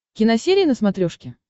киносерия на смотрешке